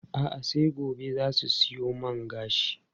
A'a, sai gobe za su siyo man gashin.